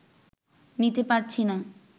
নিতে পারছি না